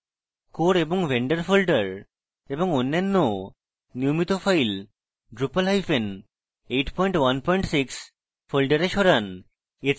core এবং vendor folder এবং অন্যান্য নিয়মিত files drupal816 folders সরান